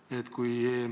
Lugupeetud minister!